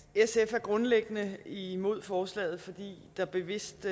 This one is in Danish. er grundlæggende imod forslaget fordi der bevidst